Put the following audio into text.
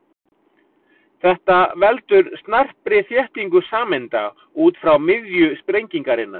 Þetta veldur snarpri þéttingu sameinda út frá miðju sprengingarinnar.